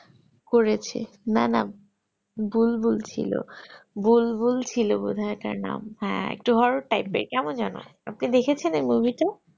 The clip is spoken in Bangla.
করেছে নানা বুলবুল ছিল বুলবুল ছিলো বোধয় ওটার নাম হ্যাঁ একটু horror এর কেমন যেন আপনি দেখেছেন এই movie টা